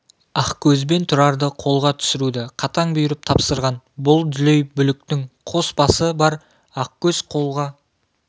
ақкөз бен тұрарды қолға түсіруді қатаң бұйырып тапсырған бұл дүлей бүліктің қос басы бар ақкөз қолға